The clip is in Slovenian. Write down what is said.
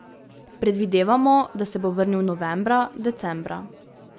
Predvidevamo, da se bo vrnil novembra, decembra.